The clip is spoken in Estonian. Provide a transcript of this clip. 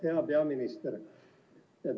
Hea peaminister!